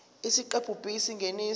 isiqephu b isingeniso